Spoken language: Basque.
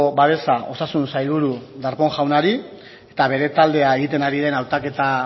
babesa osasun sailburu darpón jaunari eta bere taldea egiten ari den hautaketa